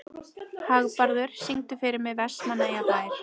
Hagbarður, syngdu fyrir mig „Vestmannaeyjabær“.